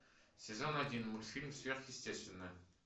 сезон один мультфильм сверхъестественное